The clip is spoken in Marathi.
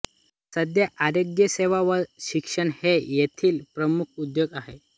सध्या आरोग्यसेवा व शिक्षण हे येथील प्रमुख उद्योग आहेत